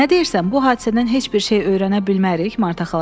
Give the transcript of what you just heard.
Nə deyirsən, bu hadisədən heç bir şey öyrənə bilmərik?